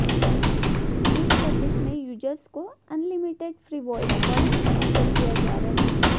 इस सर्विस में यूजर्स को unlimited free voice calling offer किया जा रहा है